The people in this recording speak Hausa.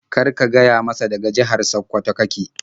Kar ka gaya masa daga jihar Sakkwato ka ke.